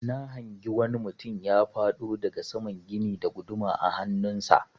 Na hangi wani mutum ya faɗo daga saman gini da guduma a hannun sa.